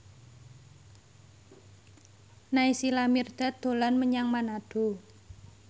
Naysila Mirdad dolan menyang Manado